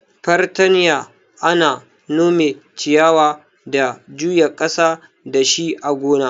Fartanya ana nome ciyawa da juya ƙasa dashi a gona.